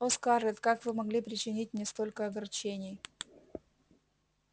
о скарлетт как вы могли причинить мне столько огорчений